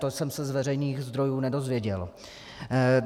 To jsem se z veřejných zdrojů nedozvěděl.